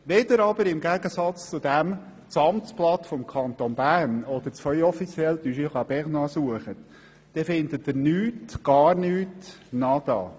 Wenn Sie hingegen das Amtsblatt des Kantons Bern oder das Feuille officielle du Jura bernois suchen, so finden Sie nichts, gar nichts, nada!